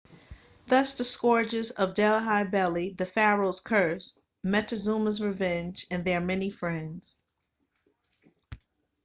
thus the scourges of delhi belly the pharaoh's curse montezuma's revenge and their many friends